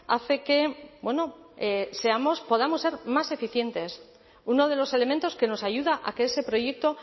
hace que bueno seamos podamos ser más eficientes uno de los elementos que nos ayuda a que ese proyecto